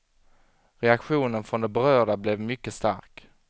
Reaktionen från de berörda blev mycket stark.